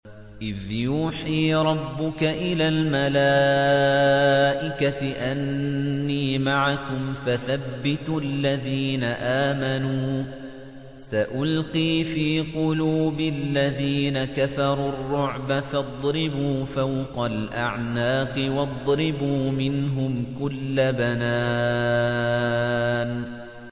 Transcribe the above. إِذْ يُوحِي رَبُّكَ إِلَى الْمَلَائِكَةِ أَنِّي مَعَكُمْ فَثَبِّتُوا الَّذِينَ آمَنُوا ۚ سَأُلْقِي فِي قُلُوبِ الَّذِينَ كَفَرُوا الرُّعْبَ فَاضْرِبُوا فَوْقَ الْأَعْنَاقِ وَاضْرِبُوا مِنْهُمْ كُلَّ بَنَانٍ